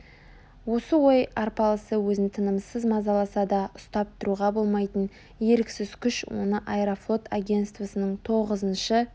осы ой арпалысы өзін тынымсыз мазаласа да ұстап тұруға болмайтын еріксіз күш оны аэрофлот агенствосының тоғызыншы